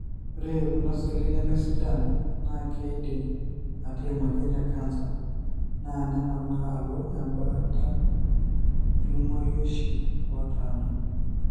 ore kuna seli nemesidan na kidim ata emoyian ecanser na nemana alo embaata ilmorioshi otanaa.